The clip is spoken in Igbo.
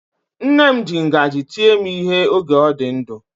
Nne m ji ngaji tie m ihe oge ọ dị ndụ.